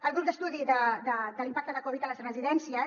al grup d’estudi de l’impacte de covid a les residències